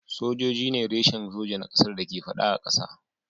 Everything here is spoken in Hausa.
Sojoji ne reshen soja na kasar da ke fada a kasa.